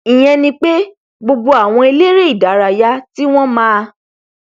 ìyẹn ni pé gbogbo àwọn eléré ìdárayá tí wọn máa